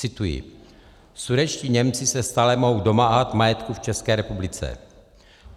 Cituji: Sudetští Němci se stále mohou domáhat majetku v České republice.